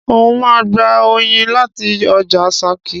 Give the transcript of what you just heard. N o ma gba oyin láti ojà Sakí